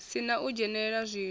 si na u dzhenelela zwiwo